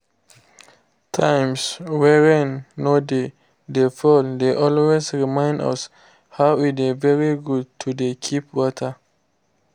times wey rain no dey dey fall dey always remind us how e dey very good to dey keep water